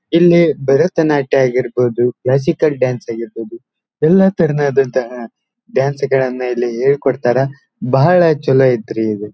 ಇಲ್ಲಿ ಭರತನಾಟ್ಯ ಆಗಿರಬಹುದು classical dance ಆಗಿರಬಹುದು ಎಲ್ಲ ತರಹದಂತಹ ಡಾನ್ಸ್ ಗಳ್ಳನ್ನು ಹೇಳ್ಕೊಡ್ತಾರ ಬಹಳ ಚಲೋ ಐತ್ರಿ ಇದು.